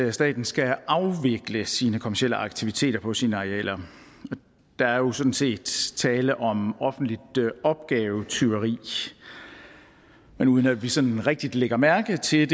at staten skal afvikle sine kommercielle aktiviteter på sine arealer der er jo sådan set tale om offentligt opgavetyveri men uden at vi sådan rigtig lægger mærke til